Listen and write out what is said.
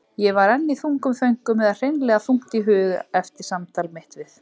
Ég var enn í þungum þönkum eða hreinlega þungt í hug eftir samtal mitt við